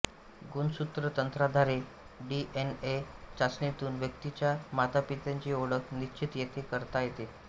गुणसूत्रतंत्राधारे DNA चाचणीतून व्यक्तीच्या मातापित्यांची ओळख निश्चित येते करता येते